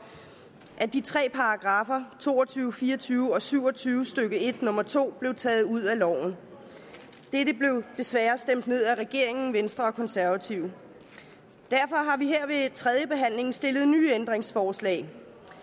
at de tre paragraffer to og tyve fire og tyve og syv og tyve stykke en nummer to blev taget ud af loven dette blev desværre stemt ned af regeringen venstre og konservative derfor har vi her ved tredjebehandlingen stillet nye ændringsforslag